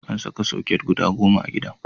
An saka soket guda goma a gidan.